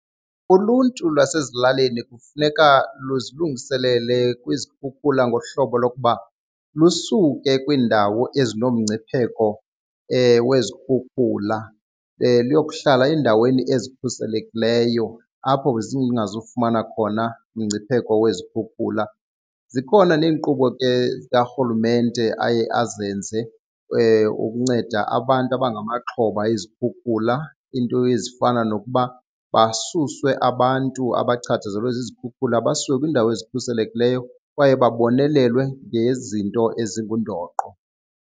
Uluntu lwasezilalini kufuneka luzilungiselele kwizikhukhula ngohlobo lokuba lusuke kwiindawo ezinomngcipheko wezikhukhula liyokuhlala eendaweni ezikhuselekileyo apho zingazufumana khona umngcipheko wezikhukhula. Zikhona neenkqubo ke zikarhulumente aye azenze ukunceda abantu abangamaxhoba ezikhukhula, iinto ezifana nokuba basuswe abantu abachatshazelwe zizikhukhula basiwe kwiindawo ezikhuselekileyo kwaye babonelelwe ngezinto ezingundoqo.